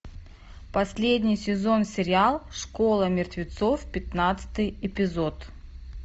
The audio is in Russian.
последний сезон сериал школа мертвецов пятнадцатый эпизод